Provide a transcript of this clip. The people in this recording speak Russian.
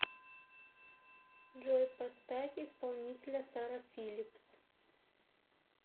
джой поставь исполнителя сара филлипс